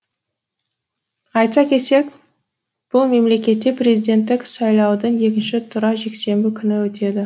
айта кетсек бұл мемлекетте президенттік сайлаудың екінші туры жексенбі күні өтеді